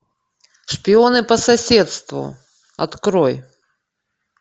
шпионы по соседству открой